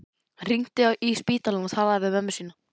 Hann hringdi í spítalann og talaði við mömmu sína.